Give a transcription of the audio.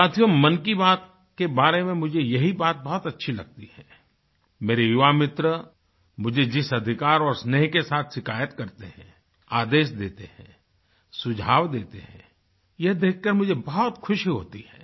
साथियोमन की बात के बारे में मुझे यही बात बहुत अच्छी लगती है मेरे युवामित्र मुझे जिस अधिकार और स्नेह के साथ शिकायत करते हैं आदेश देते हैं सुझाव देते हैं यह देख कर मुझे बहुत खुशी होती है